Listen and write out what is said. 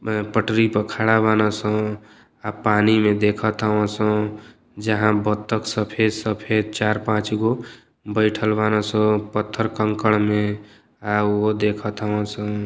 अ पटरी प खड़ा बान सन। आ पानी में देखत हउवन सन। जहां बतक सफेद सफेद चार पांच गो बईठल बान सन पत्थर कंकड़ में आ उहो देखत हउवन स।